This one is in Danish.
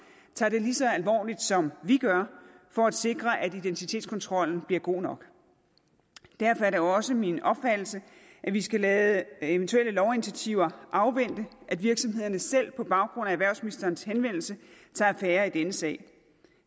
tager det lige så alvorligt som vi gør for at sikre at identitetskontrollen bliver god nok derfor er det også min opfattelse at vi skal lade eventuelle lovinitiativer afvente at virksomhederne selv på baggrund af erhvervsministerens henvendelse tager affære i denne sag